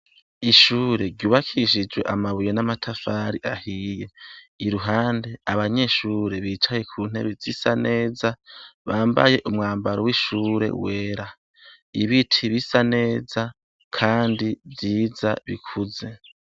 Ishure rwubakishijwe amabuye n' amatafari ahiye. Iruhande abanyeshure bicaye ku ntebe zisa neza, bambaye umwambaro w' ishure wera. Ibiti bisa neza, kandi vyiza ,bikuze.